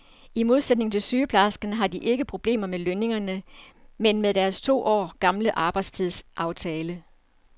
I modsætning til sygeplejerskerne har de ikke problemer med lønningerne, men med deres to år gamle arbejdstidsaftale.